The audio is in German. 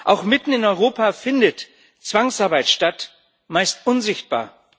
Auch mitten in Europa findet Zwangsarbeit statt, meist unsichtbar.